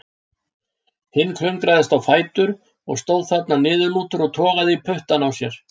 Hinn klöngraðist á fætur og stóð þarna niðurlútur og togaði í puttana á sér.